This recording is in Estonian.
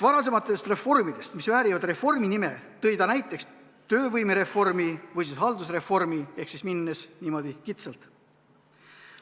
Varasematest reformidest, mis väärivad reformi nime, tõi ta näiteks töövõimereformi või haldusreformi, niimoodi kitsalt.